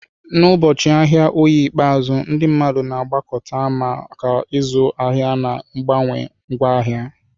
N'ụbọchị ahịa Oye ikpeazụ, ndị mmadụ na-agbakọta maka ịzụ ahịa na mgbanwe ngwaahịa.